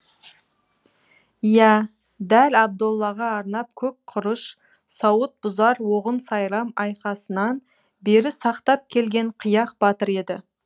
иә дәл абдоллаға арнап көк құрыш сауыт бұзар оғын сайрам айқасынан бері сақтап келген қияқ батыр еді